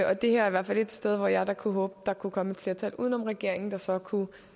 og det her er i hvert fald et sted hvor jeg da kunne håbe der kunne komme et flertal uden om regeringen der så kunne